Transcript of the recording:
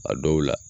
A dɔw la